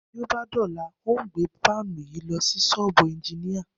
Bí ó bá dò̩la, n óò gbé fáànì yìí lo̩ sí s̩ó̩ò̩bù e̩njiníà